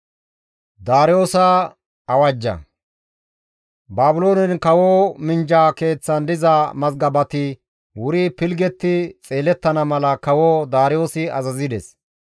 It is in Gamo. Baabiloonen kawo minjja keeththan diza mazgabati wuri pilggetti xeelettana mala kawo Daariyoosi azazides;